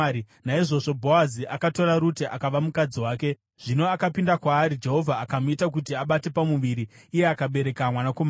Naizvozvo Bhoazi akatora Rute akava mukadzi wake. Zvino akapinda kwaari Jehovha akamuita kuti abate pamuviri, iye akabereka mwanakomana.